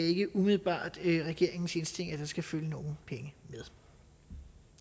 ikke umiddelbart er regeringens indstilling at der skal følge nogen penge med